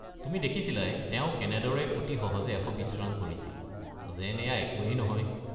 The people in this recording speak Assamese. তুমি দেখিছিলাই, তেওঁ কেনেদৰে অতি সহজে ১২০ ৰান কৰিছিল, যেন এইয়া একোৱেই নহয়।